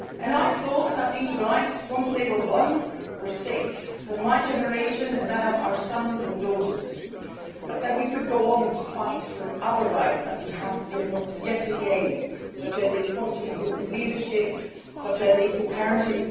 I thought that these rights, once they were won, were safe for my generation and that of our sons and daughters, and that we could go on to fight for other rights that we have yet to gain, such as equality in business leadership or equal parenting.